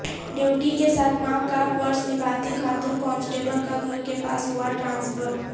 duty کے ساتھ ماں کا فرض نبھاتی خاتون کانسٹبل کا گھر کے پاس ہوا ٹرانسفر